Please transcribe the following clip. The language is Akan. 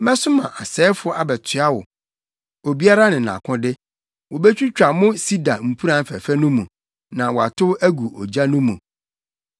Mɛsoma asɛefo abɛtoa mo, obiara ne nʼakode, wobetwitwa mo sida mpuran fɛfɛ no mu na wɔatow agu ogya no mu.